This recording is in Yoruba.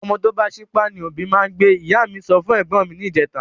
Ọmọ tó bá sípá ni òbí máa n gbé ,ìyá mí sọ fún ègbón mi ni ìjeta